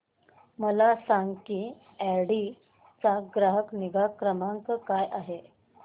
मला सांग की ऑडी चा ग्राहक निगा क्रमांक काय आहे